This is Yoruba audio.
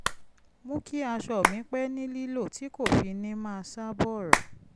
mú kí aṣọ mi pẹ́ ní lílò tí kò fi ní máa ṣá bọ̀rọ̀